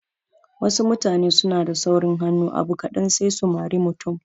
Wasu mutane suna da saurin hannu abu kaɗan sai su mari mutum